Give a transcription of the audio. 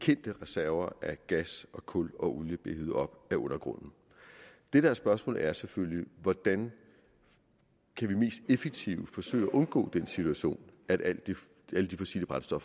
kendte reserver af gas og kul og olie bliver hevet op af undergrunden det der er spørgsmålet er selvfølgelig hvordan vi mest effektivt kan forsøge at undgå den situation at alle de fossile brændsler